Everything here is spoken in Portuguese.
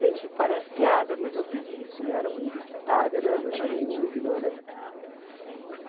Gente, parece piada, mas eu fiz isso e era uma universitária né, não era nenhuma ignorante. Uhum.